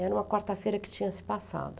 Era uma quarta-feira que tinha se passado.